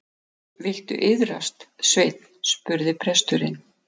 Viltu iðrast, Sveinn, spurði presturinn.